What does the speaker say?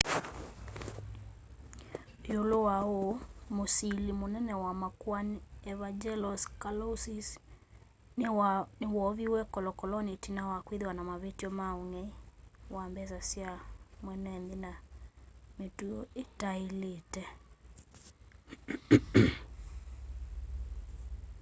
iulu wa uu musili munene wa makoani evangelos kalousis ni woviwe kolokoloni itina wa kwithiwa na mavityo ma ung'ei wa mbesa sya mweenenthi na mituo itailite